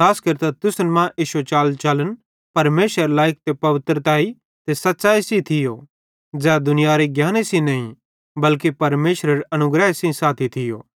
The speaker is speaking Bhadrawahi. खास केरतां तुसन मां इश्शो चालचलन परमेशरे लायिक ते पवित्रतैई ते सच़ैई सेइं थियो ज़ै दुनियारे ज्ञाने सेइं नईं बल्के परमेशरेरे अनुग्रह सेइं साथी थियो